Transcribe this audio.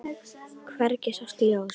Hvergi sást ljós.